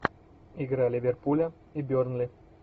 игра ливерпуля и бернли